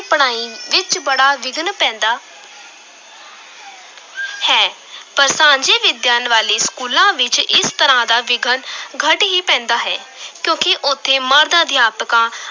ਪੜਾਈ ਵਿਚ ਬੜਾ ਵਿਘਨ ਪੈਂਦਾ ਹੈ ਪਰ ਸਾਂਝੀ ਵਿਦਿਆ ਵਾਲੇ ਸਕੂਲਾਂ ਵਿੱਚ ਇਸ ਤਰ੍ਹਾਂ ਦਾ ਵਿਘਨ ਘੱਟ ਹੀ ਪੈਂਦਾ ਹੈ ਕਿਉਂਕਿ ਉੱਥੇ ਮਰਦ-ਅਧਿਅਕਾਂ